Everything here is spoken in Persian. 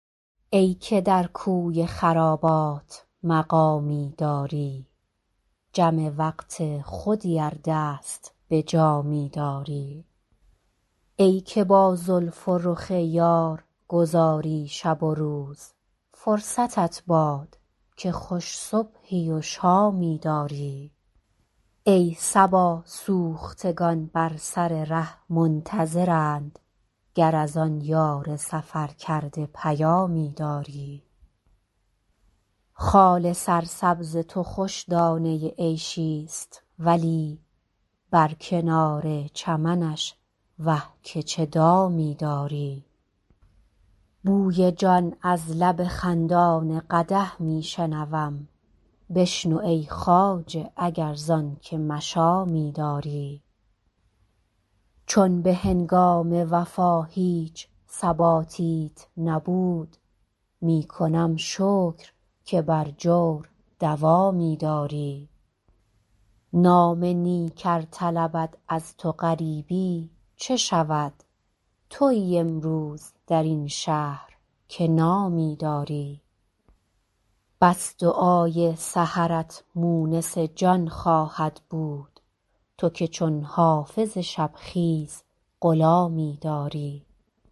ای که در کوی خرابات مقامی داری جم وقت خودی ار دست به جامی داری ای که با زلف و رخ یار گذاری شب و روز فرصتت باد که خوش صبحی و شامی داری ای صبا سوختگان بر سر ره منتظرند گر از آن یار سفرکرده پیامی داری خال سرسبز تو خوش دانه عیشی ست ولی بر کنار چمنش وه که چه دامی داری بوی جان از لب خندان قدح می شنوم بشنو ای خواجه اگر زان که مشامی داری چون به هنگام وفا هیچ ثباتیت نبود می کنم شکر که بر جور دوامی داری نام نیک ار طلبد از تو غریبی چه شود تویی امروز در این شهر که نامی داری بس دعای سحرت مونس جان خواهد بود تو که چون حافظ شب خیز غلامی داری